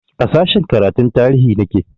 A sashen karatun tarihi nake